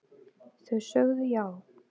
Þau sögðu já